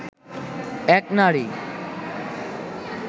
এক নারী